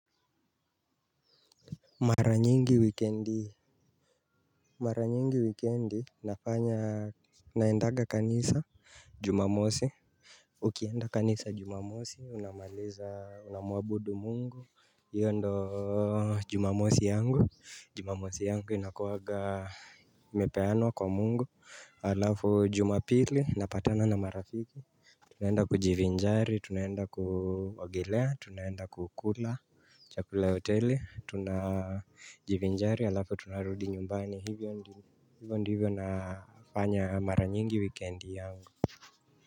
Mara nyingi weekendi. Mara nyingi weekendi nafanya naendaga kanisa. Jumamosi. Ukienda kanisa jumamosi unamaliza unamwabudu mungu. Iyo ndo jumamosi yangu. Jumamosi yangu inakuwaga imepeanwa kwa mungu. Halafu jumapili napatana na marafiki. Tunaenda kujivinjari, tunaenda kuogelea tunaenda kukula chakula cha hoteli tunajivinjari alafu tunarudi nyumbani hivyo ndivyo nafanya mara nyingi wikendi yangu.